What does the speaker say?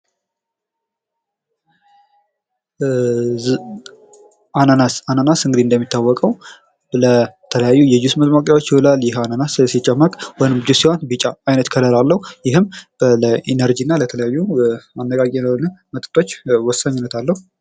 አናናስ አናናስ እንግዲህ እንደሚታወቀው ለተለያዩ የጁስ መሟቂ አናናስ ሲጨመቅ ቢጫ አይነት ከለር አለው ይህም ለኢነሮጂ እና ለተለያዩ አነቃቂ ለሆነ መጠጦች ወሳኝነት አለው።